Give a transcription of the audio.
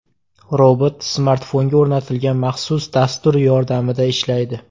Robot smartfonga o‘rnatilgan maxsus dastur yordamida ishlaydi.